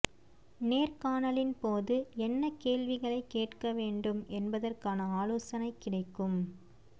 நேர்காணலின் போது என்ன கேள்விகளைக் கேட்க வேண்டும் என்பதற்கான ஆலோசனை கிடைக்கும்